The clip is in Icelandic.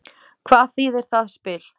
Hvað þýðir það spil?